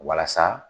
Walasa